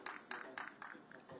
Bilirsən ki, yəni oyunçu.